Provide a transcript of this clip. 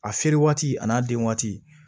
A feere waati a n'a den waati